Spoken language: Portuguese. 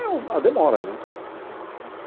É, a demora, né? Uhum.